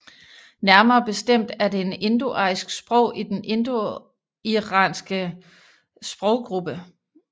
Nærmere bestemt er det et indoarisk sprog i den indoiranske sproggruppe